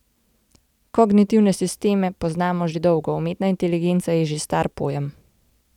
Kognitivne sisteme poznamo že dolgo, umetna inteligenca je že star pojem.